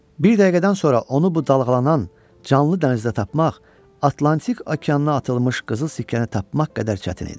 Bir dəqiqədən sonra onu bu dalğalanan, canlı dənizdə tapmaq Atlantik okeanına atılmış qızıl sikkəni tapmaq qədər çətin idi.